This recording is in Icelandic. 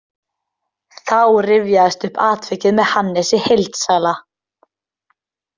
Þá rifjaðist upp atvikið með Hannesi heildsala.